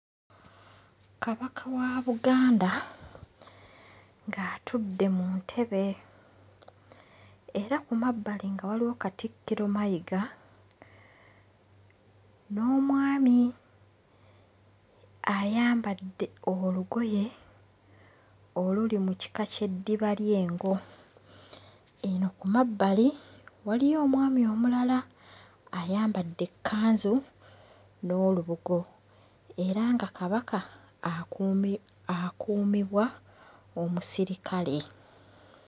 Kabaka wa Buganda ng'atudde mu ntebe, era ku mabbali nga waliwo Katikkiro Mayiga n'omwami ayambadde olugoye oluli mu kika ky'eddiba ly'engo. Eno ku mabbali waliyo omwami omulala ayambadde ekkanzu n'olubugo, era nga Kabaka akuumi akuumibwa omusirikale.